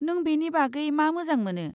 नों बेनि बागै मा मोजां मोनो?